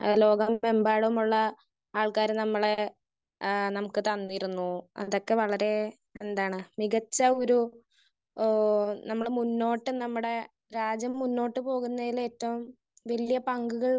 Speaker 1 ഏഹ് ലോകമെമ്പാടുമുള്ള ആള്ക്കാര് നമ്മളെ ആഹ് നമുക്ക് തന്നിരുന്നു. അതൊക്കെ വളരെ എന്താണ്? മികച്ച ഒരു ഏഹ് നമ്മള് മുന്നോട്ട് നമ്മടെ രാജ്യം മുന്നോട്ട് പോകുന്നതിന് ഏറ്റവും വല്ല്യ പങ്കുകൾ